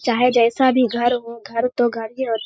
चाहे जैसा भी घर हो घर तो घर ही होता --